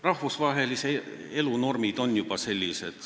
Rahvusvahelise elu normid on juba kord sellised.